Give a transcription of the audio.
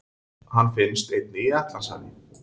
Hann finnst einnig í Atlantshafi.